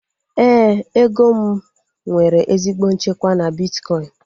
Éè, ego m nwere ezigbo nchekwa na bitkọin